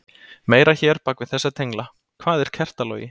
Meira hér bak við þessa tengla: Hvað er kertalogi?